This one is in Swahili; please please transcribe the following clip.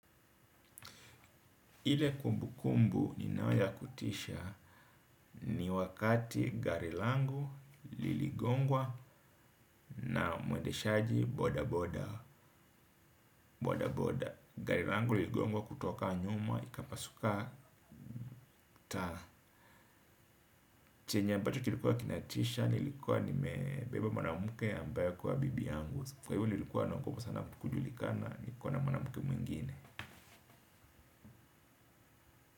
Ile kumbukumbu ninayo ya kutisha ni wakati gari langu liligongwa na mwendeshaji boda boda boda. Gari langu liligongwa kutoka nyuma, ikapasuka taa. Chenye ambacho kilikuwa kinatisha, nilikuwa nimebeba mwanamke ambayo kuwa bibi yangu. Kwa hivyo nilikuwa naogopa sana kujulikana, nikiwa na mwanamke mwingine.